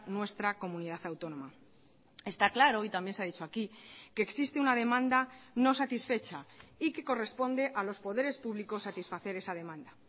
nuestra comunidad autónoma está claro y también se ha dicho aquí que existe una demanda no satisfecha y que corresponde a los poderes públicos satisfacer esa demanda